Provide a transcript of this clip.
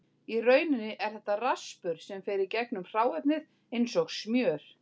Í rauninni er þetta raspur sem fer í gegnum hráefnið eins og smjör.